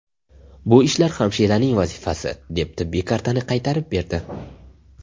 Bu ishlar hamshiraning vazifasi”, deb tibbiy kartani qaytarib berdi.